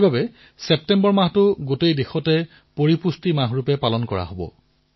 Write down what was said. সমগ্ৰ দেশতে ছেপ্টেম্বৰ মাহটো পোষণ মাহপুষ্টি মাহ হিচাপে পালন কৰা হব